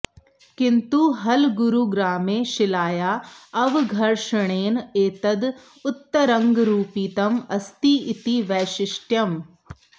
किन्तु हलगूरुग्रामे शिलायाः अवघर्षणेन एतद् उत्तरङ्गं रूपितम् अस्ति इति वैशिष्ट्यम्